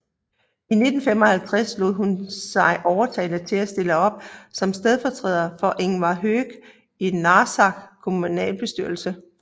I 1955 lod hun sige overtale til at stille op som stedfortræder for Ingvar Høegh i Narsaqs kommunalbestyrelse